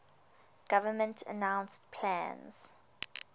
government announced plans